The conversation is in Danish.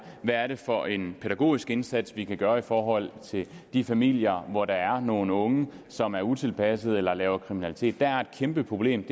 hvad er det for en pædagogisk indsats vi kan gøre i forhold til de familier hvor der er nogle unge som er utilpassede eller laver kriminalitet der er et kæmpe problem